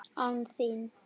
ÁN ÞÍN!?